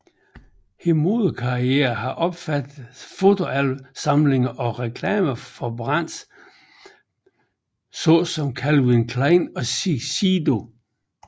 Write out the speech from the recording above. Hendes modelkarriere har omfattet fotosamlinger og reklamer for brands såsom Calvin Klein og Shiseido